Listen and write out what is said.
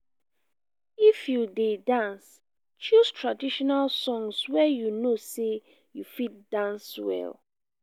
if you de dance choose traditional songs wey you know say you fit dance well